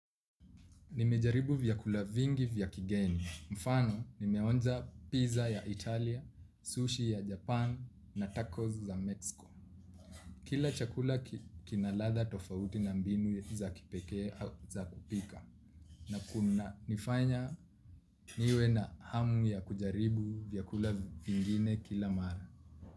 Nimejaribu vyakula vingi vya kigeni. Mfano, nimeonja pizza ya Italia, sushi ya Japan na tacos za Mexico. Kila chakula kina ladha tofauti na mbinu za kipekee za kupika. Na kunanifanya niwe na hamu ya kujaribu vyakula vingine kila mara.